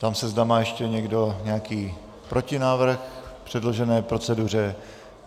Ptám se, zda má ještě někdo nějaký protinávrh k předložené proceduře.